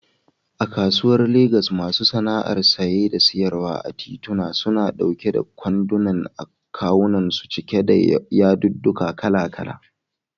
A kasuwar Legas, masu sana'ar saye da siyarwa a tituna, suna ɗauke da kwanduna a kawunansu cike da yadudduka kala-kala.